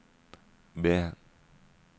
B